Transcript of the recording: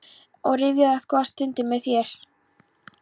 og rifja upp góðar stundir með þér.